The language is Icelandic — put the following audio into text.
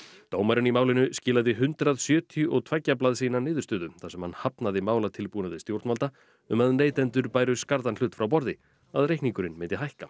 dómarinn í málinu skilaði hundrað sjötíu og tveggja blaðsíðna niðurstöðu þar sem hann hafnaði málatilbúnaði stjórnvalda um að neytendur bæru skarðan hlut frá borði að reikningurinn myndi hækka